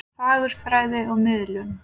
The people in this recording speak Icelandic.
Fagurfræði og miðlun.